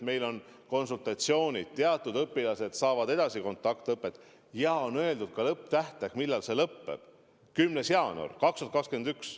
Meil on lubatud konsultatsioonid, teatud õpilased saavad edasi kontaktõpet, ja on öeldud ka lõpptähtaeg, millal see lõpeb: 10. jaanuar 2021.